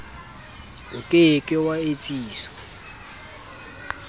o ke ke wa etsiswa